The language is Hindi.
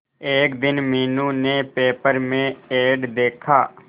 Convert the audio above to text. एक दिन मीनू ने पेपर में एड देखा